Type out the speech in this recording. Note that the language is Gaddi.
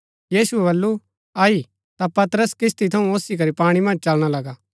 यीशुऐ वलु अई ता पतरस किस्ती थऊँ ओसी करी पाणी मन्ज चलना लगा